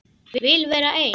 Vil vera ein.